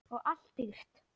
Og allt dýrt.